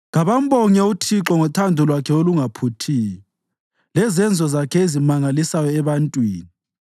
Kabambonge uThixo ngothando lwakhe olungaphuthiyo lezenzo zakhe ezimangalisayo ebantwini.